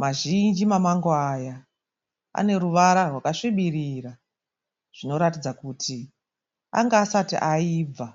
Mazhinji mamamango aya, aneruvava rwakasvibirira zvinoratidza kuti anga asati ayibva.